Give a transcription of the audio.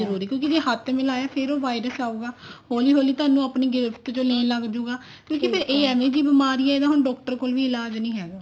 ਕਿਉਂਕਿ ਜੇ ਹੱਥ ਮਿਲਾਇਆ ਫ਼ੇਰ ਉਹ virus ਆਉਗਾ ਹੋਲੀ ਹੋਲੀ ਤੁਹਾਨੂੰ ਆਪਣੀ ਗਿਰਫ਼ ਚ ਲੈਣ ਲੱਗ ਜੁਗਾ ਕਿਉਂਕਿ ਫ਼ੇਰ ਇਹ ਏਵੇਂ ਦੀ ਬਿਮਾਰੀ ਹੈ ਇਹਦਾ ਹੁਣ doctor ਕੋਲ ਵੀ ਇਲਾਜ ਨੀ ਹੈਗਾ